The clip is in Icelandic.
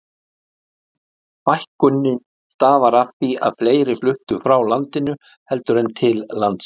fækkunin starfar af því að fleiri fluttu frá landinu heldur en til landsins